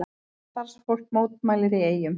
Starfsfólk mótmælir í Eyjum